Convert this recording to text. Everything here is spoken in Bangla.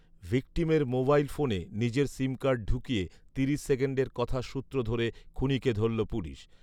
ভিকটিমের মোবাইল ফোনে নিজের সিমকার্ড ঢুকিয়ে তিরিশ সেকেন্ডের কথার সূত্র ধরে খুনিকে ধরল পুলিশ